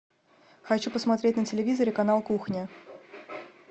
хочу посмотреть на телевизоре канал кухня